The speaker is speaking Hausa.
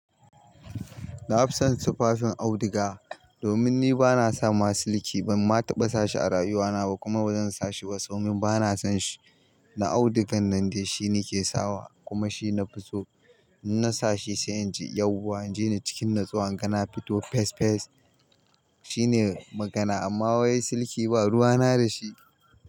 Na fi son tufafin auduga domin ni ba na sa masu silki ba. Ma taɓa sa shi a rayuwana ba kuma ba zan sa shi ba saboda bana son shi. Na audugan nan dai shine nake sawa kuma shi na fi so. Na sa shi sai in ji yauwa. An je ni cikin nutsuwa an gana fito fes fes. Shine magana amma wai silki ba ruwa na da shi.